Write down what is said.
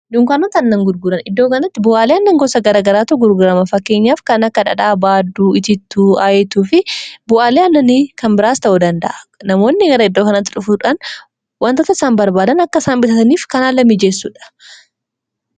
dunkaanota aannan gurguran iddoo kanatti bu'aalee aannan gosa garagaraatu gurguraama faakkeenyaaf kan akka dhadhaa baadduu itiittuu aayituu fi bu'aaleen annanii kan biraas ta'uu danda'a namoonni gara iddoo kanaatti dhufuudhaan wantoota isaan barbaadan akka isaan bitataniif kan haala mijeessuudha